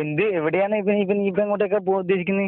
എന്ത് എവടെയാണ് നീയിപ്പ എങ്ങോട്ടേക്കാ പോകാൻ ഉദ്ദേശിക്കുന്നെ?